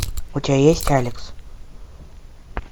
у тебя есть алекс